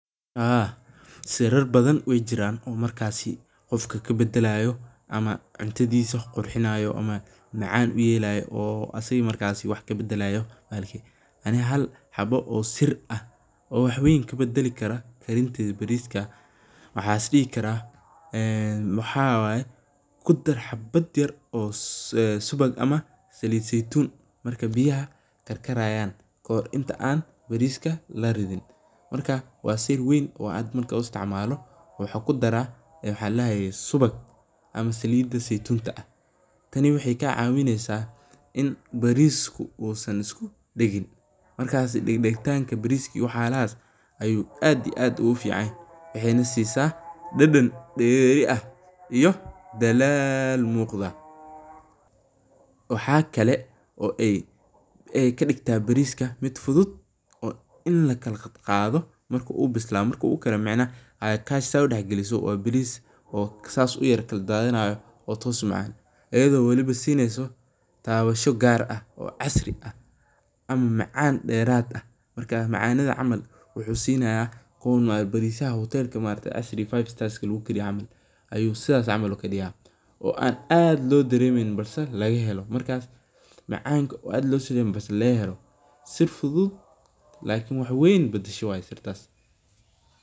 Haa sirar badan waay jiraan oo markaasi qofka kabadalaayo ama cuntadiisa qurxinaayo ama macaan uyeelayo oo asaga markaasi wax kabadalaayo, ani hal xabo oo sir ah oo wax weyn kabadali karo karinta bariiska waxaan is dihi karaa, waxaa waye kudar xabad yar oo saliid ama subag zeytuun marka biyaha karkarayaan oo inta aan bariiska laridin, marka waa sir weyn oo aan marka la isticmaalo, waxaa kudaraa subag ama saliid zeitun, tani waxeey kaa caawineysa in bariisku uu san isku dagin, markaasi degtaanka bariiska iyo wax yaabahaas ayuu aad ugu fican yahay, waxeeyna siisa dadan deeri ah iyo dalaal muuqda, waxaa kale oo aay kadigtaa bariiska mid fudud oo in lakala qadqaado markuu ubislado marka uu karo micnah oo kaash sidaas loo galgaliyo waa bariis oo saas ukala dadanaayo oo toos umacaan, ayado waliba sineyso tabasha gaar ah oo casri ah ama macaan deerad ah, marka macanada camal wuxuu sinaya bariisyaha hotelaha casriga five star lagu kariyo camal, sidaas camal ayuu kadigaa oo aan aad loo dareemin balse laga helo, sir fudud lakin wax weyn badasho waye sirtaas.